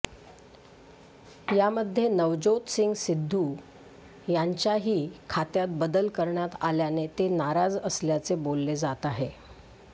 यामध्ये नवज्योत सिंग सिद्धू यांच्याही खात्यात बदल करण्यात आल्याने ते नाराज असल्याचे बोललं जात आहे